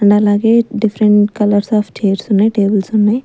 And అలాగే different colours of chairs ఉన్నాయ్ tables ఉన్నాయ్.